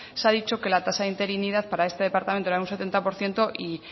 se ha dicho que la tasa de interinidad para este departamento era un setenta por ciento y